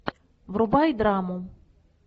врубай драму